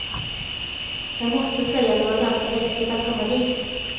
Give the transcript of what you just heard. Jag måste säga att det var ganska läskigt att komma dit.